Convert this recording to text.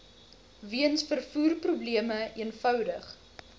weens vervoerprobleme eenvoudig